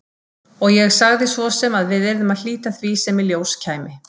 Og ég sagði sem svo að við yrðum að hlíta því sem í ljós kæmi.